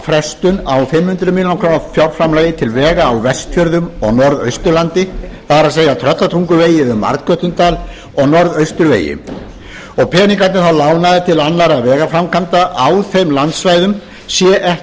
frestun á fimm hundruð milljóna króna fjárframlagi til vega á vestfjörðum og norðausturlandi það er tröllatunguvegi um arnkötludal og norðausturvegi og peningarnir þá lánaðir til annarra vegaframkvæmda á þeim landsvæðum sé ekki